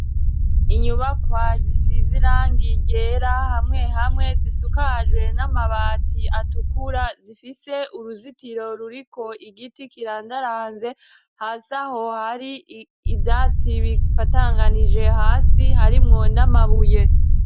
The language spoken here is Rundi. Inyubakwa zisize irangi ryera hamwe hamwe zisakajwe n'amabati atukura zifise uruzitiro ruriko igiti kirandaranze. Hasi aho har'ivyatsi bifatanganije hasi harimwo n'amabuye.